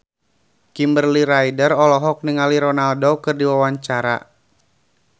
Kimberly Ryder olohok ningali Ronaldo keur diwawancara